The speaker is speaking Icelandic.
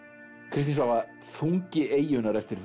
Kristín Svava þungi eyjunnar eftir